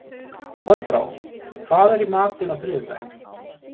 Þorbrá, hvað er í matinn á þriðjudaginn?